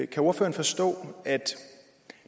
kan ordføreren forstå at